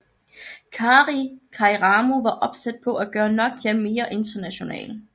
Kari Kairamo var opsat på at gøre Nokia mere international